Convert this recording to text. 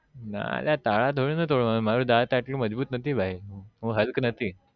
ના અલ્યા તારા થોડી ને તોડ વ ના હોય મારું દાત એટલું મજબુત નથી ભાઈ હું હલક નથી